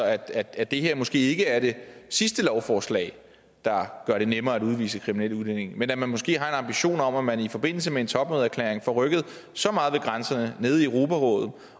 at det her måske ikke er det sidste lovforslag der gør det nemmere at udvise kriminelle udlændinge men at man måske har en ambition om at man i forbindelse med en topmødeerklæring får rykket så meget ved grænserne nede i europarådet